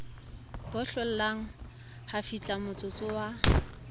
bo hlollang ha fihlamotsotso wa